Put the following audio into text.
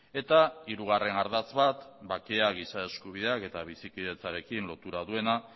eta hirugarren ardatz bat bakea giza eskubideak eta bizikidetzarekin lotura duena